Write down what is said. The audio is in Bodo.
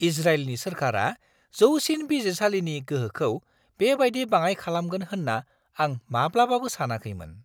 इजराइलनि सोरखारा जौसिन बिजिरसालिनि गोहोखौ बेबायदि बाङाइ खालामगोन होनना आं माब्लाबाबो सानाखैमोन!